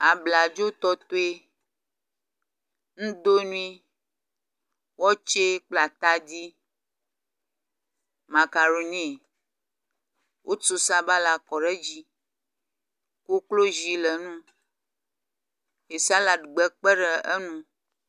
Abladzotɔtɔe, nudonui, watsɛ kple atadi, macaroni, wotso sabala kɔ ɖe dzi. Koklozi le ŋu ye saladgbe kpe ɖe eŋu.